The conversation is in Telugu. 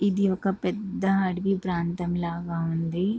ఇది ఒక పెద్ద అడవి ప్రాంతం లాగా ఉంది.